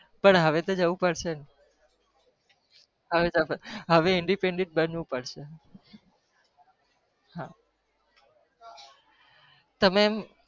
પણ હવે તો જવું પડશે ને